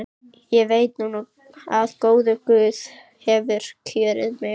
Ég veit núna að góður guð hefur kjörið mig.